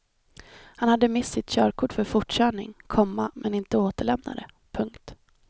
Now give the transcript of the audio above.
Han hade mist sitt körkort för fortkörning, komma men inte återlämnat det. punkt